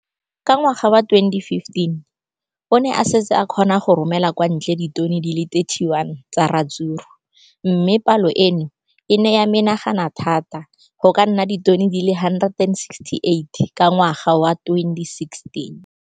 Ka ngwaga wa 2015, o ne a setse a kgona go romela kwa ntle ditone di le 31 tsa ratsuru mme palo eno e ne ya menagana thata go ka nna ditone di le 168 ka ngwaga wa 2016.